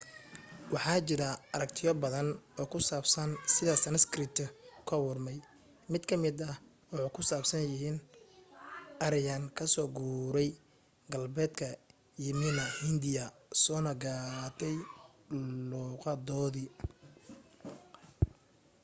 waxa jira aragtiyo baadan oo ku saabsan sida sanskrit ku abuurmay mid ka mida waxa ku saabsan yihiin aryan ka soo guuray galbeedka yimina hindiya soona qaatay luuqadoodii